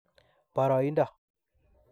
Boroindo.